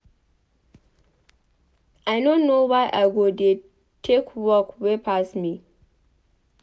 I no know why I go dey take work wey pass me.